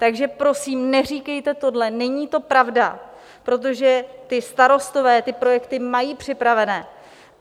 Takže prosím neříkejte tohle, není to pravda, protože ti starostové ty projekty mají připravené.